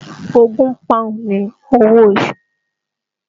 Ogún Pọ́ùn ni owó oṣù